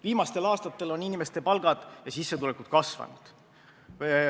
Viimastel aastatel on inimeste palgad ja sissetulekud kasvanud.